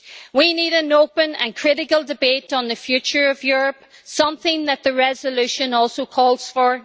We need an open and critical debate on the future of Europe, something that the resolution also calls for.